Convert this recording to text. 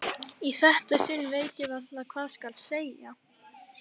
Í þetta sinn veit ég varla hvað skal segja.